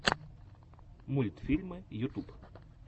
мультфильмы ютьюб